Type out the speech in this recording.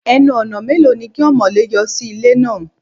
Ẹnu-ọ̀nà mélòó ni kí ọmọ̀lé yọ sí ilé náà?